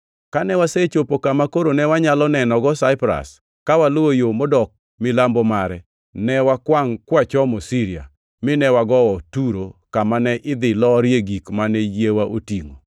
Kane wasechopo kama koro ne wanyalo nenogo Saipras, ka waluwo yo modok milambo mare, ne wakwangʼ kwachomo Siria, mine wagowo Turo kama ne idhi lorie gik mane yiewa otingʼo.